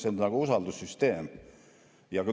See on nagu usaldussüsteem.